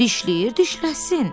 Dişləyir dişləsin.